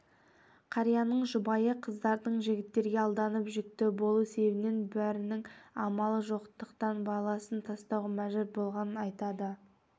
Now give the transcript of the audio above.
қарияның жұбайы қыздардың жігіттерге алданып жүкті болу себебінен бірінің амалы жоқтықтан баласын тастауға мәжбүр болғанын айтады